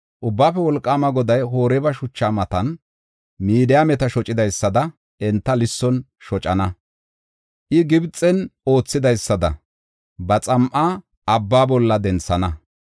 Ubbaafe Wolqaama Goday Oreeba shuchaa matan Midiyaameta shocidaysada enta lisson shocana. I Gibxen oothidaysada ba xam7a abba bolla denthana.